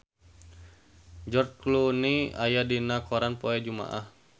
George Clooney aya dina koran poe Jumaah